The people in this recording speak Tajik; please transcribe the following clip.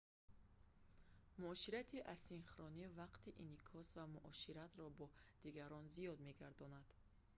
муоширати асинхронӣ вақти инъикос ва муоширатро бо дигарон зиёд мегардонад